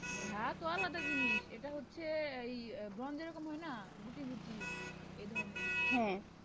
ঘা তো আলাদা জিনিস, এটা হচ্ছে এই ব্রন যেরকম হয় না গুটি গুটি, এধরণের,